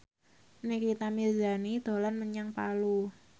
Nikita Mirzani dolan menyang Palu